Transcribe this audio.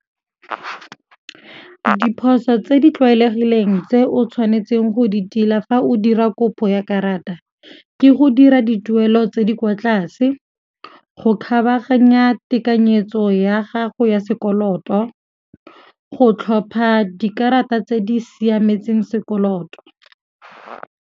Diphoso tse di tlwaelegileng tse o tshwanetseng go di tila fa o dira kopo ya karata ke go dira dituelo tse di kwa tlase, go kgabaganya tekanyetso ya gago ya sekoloto, go tlhopha dikarata tse di siametseng sekoloto.